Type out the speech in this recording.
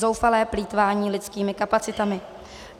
Zoufalé plýtvání lidskými kapacitami.